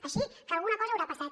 així que alguna cosa deu haver passat